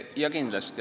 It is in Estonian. Jaa, kindlasti.